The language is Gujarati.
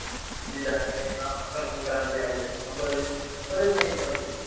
સીધી જાન્યુઆરીમાં મકરસંક્રાતિ આવી જાય છે ખબર જ નથી પડતી